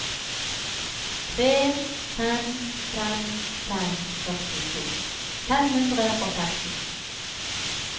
tre fem fem fem førtito fem hundre og femten